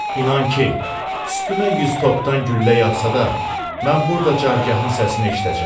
İnan ki, üstümə yüz topdan güllə yağsa da, mən burda cargahın səsini eşidəcəm.